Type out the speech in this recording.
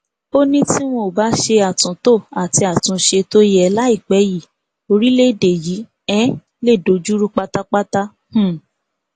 ó ní tí wọn ò bá ṣe àtúntò àti àtúnṣe tó yẹ láìpẹ yìí orílẹèdè yìí um lè dojú rú pátápátá um